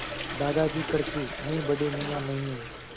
दादाजी कड़के मैं बड़े मियाँ नहीं हूँ